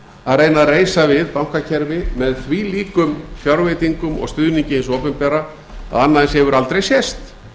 að reyna að reisa við bankakerfi með þvílíkum fjárveitingum og stuðningi hins opinbera að annað eins hefur aldrei sést